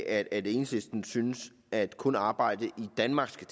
at enhedslisten synes at kun arbejde i danmark skal